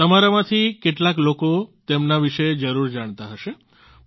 તમારામાંથી કેટલાક લોકો તેમના વિશે જરૂર જાણતા હશે